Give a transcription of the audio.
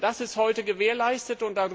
Das ist heute gewährleistet.